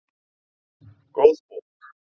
Góð bók